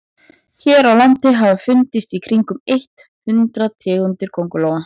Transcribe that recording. hér á landi hafa fundist í kringum eitt hundruð tegundir köngulóa